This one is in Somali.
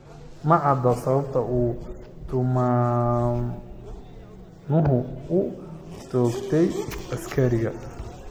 Ma cadda sababta uu tuhmanuhu u toogtay askariga.